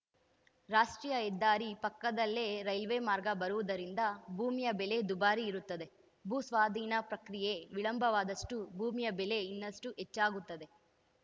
ರಾಷ್ಟ್ರೀಯ ಹೆದ್ದಾರಿ ಪಕ್ಕದಲ್ಲೆ ರೈಲ್ವೆ ಮಾರ್ಗ ಬರುವುದರಿಂದ ಭೂಮಿಯ ಬೆಲೆ ದುಬಾರಿ ಇರುತ್ತದೆ ಭೂ ಸ್ವಾಧೀನ ಪ್ರಕ್ರಿಯೆ ವಿಳಂಬವಾದಷ್ಟೂಭೂಮಿಯ ಬೆಲೆ ಇನ್ನಷ್ಟುಹೆಚ್ಚಾಗುತ್ತದೆ